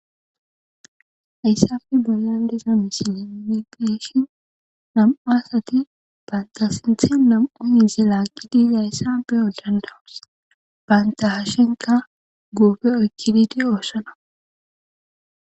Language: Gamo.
Hayssafe bollabdeza misile migeshin nam,o asati baynta sinthi nam,on yize laaqidizayssa beyodandawus bayntahashenka guufe oykkididi oossona.